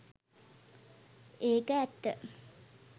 ඒක ඇත්ත